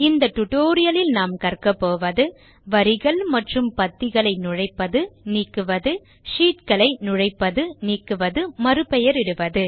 இந்த டுடோரியலில் நாம் கற்கபோவது வரிகள் மற்றும் பத்திகளை நுழைப்பது நீக்குவது ஷீட் களை நுழைப்பது நீக்குவது ஷீட் களை மறுபெயரிடுவது